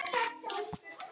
Hann var ALSÆLL.